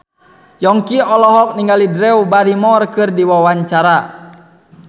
Yongki olohok ningali Drew Barrymore keur diwawancara